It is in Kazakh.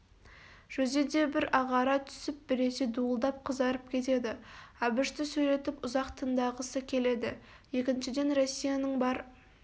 жүзі де бір ағара түсіп біресе дуылдап қызарып кетеді әбішті сөйлетіп ұзақтындағысы келеді екіншіден россияның бар